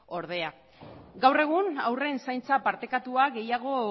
ordea gaur egun haurren zaintza partekatua gehiago